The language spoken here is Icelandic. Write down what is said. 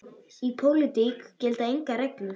Í pólitík gilda engar reglur.